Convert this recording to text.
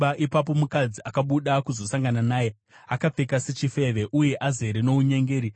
Ipapo mukadzi akabuda kuzosangana naye, akapfeka sechifeve uye azere nounyengeri.